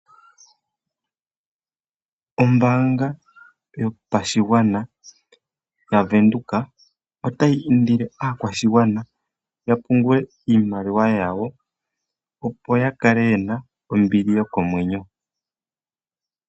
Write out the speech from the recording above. Ombaanga yopashigwana yaVenduka otayi indile aakwashigwana ya pungule iimaliwa yawo, opo ya kale ye na ombili yokomwenyo.